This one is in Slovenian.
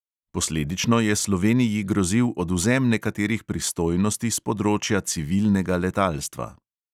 Posledično je sloveniji grozil odvzem nekaterih pristojnosti s področja civilnega letalstva.